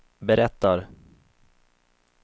berättar